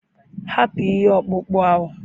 Hapụ ihe ọkpụkpụ ahụ!